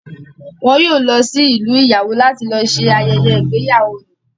Wọn yóò lọ sí ìlú ìyàwó láti lọ ṣe ayẹyẹ ìgbéyàwó ni